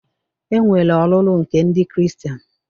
E nwere ọlụlụ nke ndị Kristien